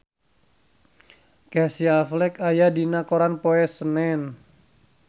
Casey Affleck aya dina koran poe Senen